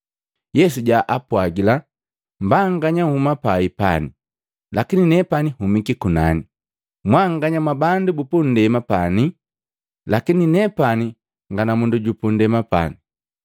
Yesu jaapwagila, “Mbanganya nhuma pai pani, lakini nepani nhumiki kunani. Mwanganya mwabandu bupundema pani lakini nepani nga namundu jupundema pane.